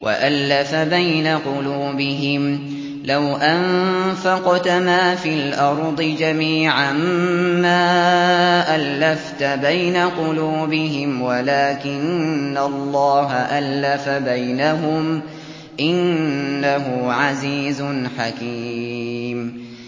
وَأَلَّفَ بَيْنَ قُلُوبِهِمْ ۚ لَوْ أَنفَقْتَ مَا فِي الْأَرْضِ جَمِيعًا مَّا أَلَّفْتَ بَيْنَ قُلُوبِهِمْ وَلَٰكِنَّ اللَّهَ أَلَّفَ بَيْنَهُمْ ۚ إِنَّهُ عَزِيزٌ حَكِيمٌ